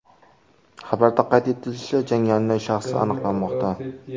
Xabarda qayd etilishicha, jangarining shaxsi aniqlanmoqda.